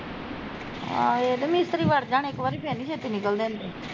ਆਹੋ ਏਹ ਤੇ ਮਿਸਤਰੀ ਵੜ ਜਾਣ ਇੱਕ ਵਾਰੀ ਫਿਰ ਨੀ ਛੇਤੀ ਨਿਕਲਦੇ ਹੁੰਦੇ